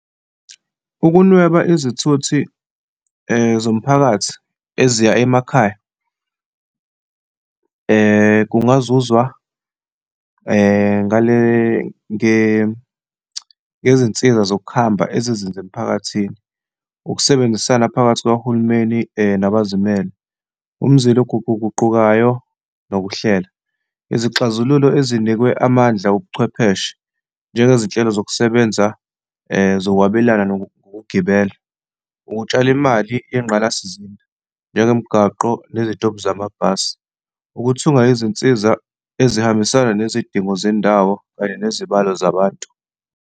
Ukunweba izithuthi zomphakathi eziya emakhaya kungazuzwa ngale, ngezinsiza zokuhamba ezizenza emiphakathini. Ukusebenzisana phakathi kukahulumeni nabazimele, umzila eguquguqukayo, nokuhlela, izixazululo ezinikwe amandla obuchwepheshe njengezinhlelo zokusebenza zokwabelana nokugibela, ukutshala imali yengqalasizinda, njengomgwaqo nezitobhi zamabhasi, ukuthunga izinsiza ezihambisana nezidingo zendawo kanye nezibalo zabantu.